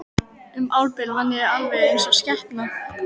Um árabil vann ég alveg eins og skepna.